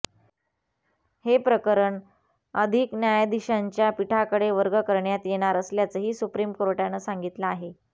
हे प्रकरण अधिक न्यायाधीशांच्या पीठाकडे वर्ग करण्यात येणार असल्याचंही सुप्रीम कोर्टाने सांगितलं आहे